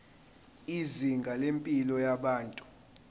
izinga lempilo yabantu